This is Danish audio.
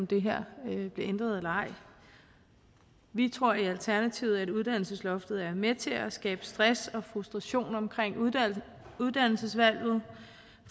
det her bliver ændret eller ej vi tror i alternativet at uddannelsesloftet er med til at skabe stress og frustration omkring uddannelsesvalget